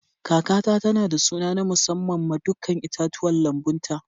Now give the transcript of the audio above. Kakata tana da suna na musamman ma dukan itatuwan lambun ta.